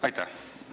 Aitäh!